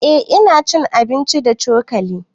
Eh ina cin abinci da cokali